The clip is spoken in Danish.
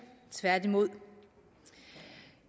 tværtimod